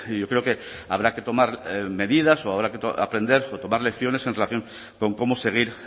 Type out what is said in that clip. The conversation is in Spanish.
yo creo que habrá que tomar medidas o habrá que aprender o tomar lecciones en relación con cómo seguir